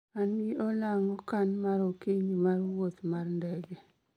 an gi olang' okan mar okinyi mar wuoth mar ndege